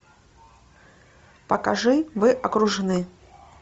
покажи вы окружены